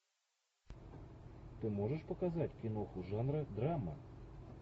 ты можешь показать киноху жанра драма